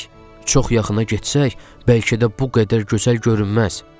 Çox yaxına getsək, bəlkə də bu qədər gözəl görünməz, dedi.